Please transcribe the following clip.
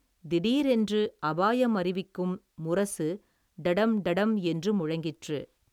திடீரென்று அபாயம் அறிவிக்கும் முரசு டடம் டடம் என்று முழங்கிற்று.